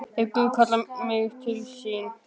Ef Guð kallar mig til sín.